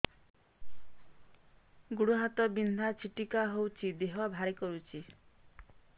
ଗୁଡ଼ ହାତ ବିନ୍ଧା ଛିଟିକା ହଉଚି ଦେହ ଭାରି କରୁଚି